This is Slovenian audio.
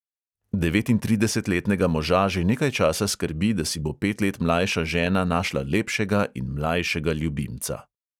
Devetintridesetletnega moža že nekaj časa skrbi, da si bo pet let mlajša žena našla lepšega in mlajšega ljubimca.